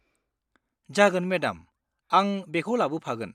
जागोन, मेडाम! आं बेखौ लाबोफागोन।